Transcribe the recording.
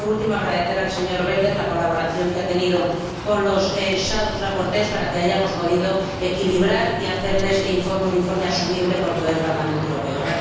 Quiero, por último, agradecer al señor Belder la colaboración que ha tenido con los ponentes alternativos para que hayamos podido equilibrar y hacer de este informe un informe asumible por todo el Parlamento Europeo.